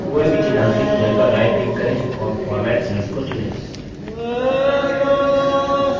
कोई भी चिन्हांकित cells पर right click करें और format cells को चुनें